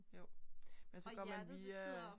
Jo. Men så går man via